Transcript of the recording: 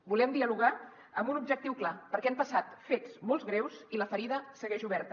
volem dialogar amb un objectiu clar perquè han passat fets molt greus i la ferida segueix oberta